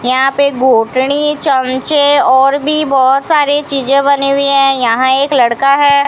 यहां पे घोटनी चमचे और भी बहुत सारी चीजें बने हुई हैं यहां एक लड़का है।